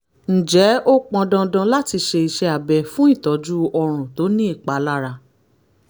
ǹjẹ́ ó pọn dandan láti ṣe iṣẹ́ abẹ fún ìtọ́jú ọrùn tó ní ìpalára?